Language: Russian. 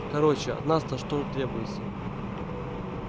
короче от нас-то что требуется